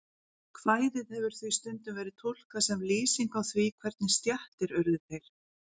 Kvæðið hefur því stundum verið túlkað sem lýsing á því hvernig stéttir urðu til.